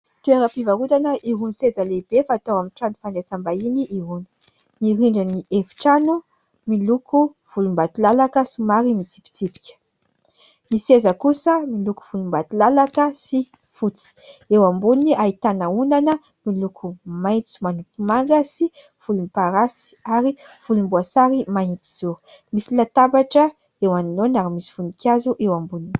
toeram-pivarotana irony seza lehibe fatao amin'ny trano fandraisam-bahiny irony ny rindrin'ny efitrano miloko volombatolalaka somary mitsipitsipika ny seza kosa miloko volombatolalaka sy fotsy eo amboniny ahitana ondana miloko maintso manopy manga sy volomparasy ary volomboasary mahitsizoro misy latabatra eo anolohany ary misy voninkazo eo amboniny